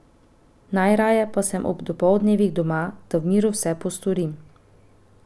Najraje pa sem ob dopoldnevih doma, da v miru vse postorim.